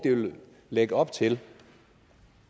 lægge op til